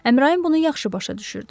Əmrayin bunu yaxşı başa düşürdü.